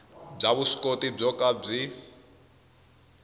bya vuswikoti byo ka byi